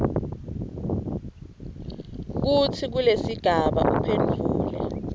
kutsi kulesigaba uphendvule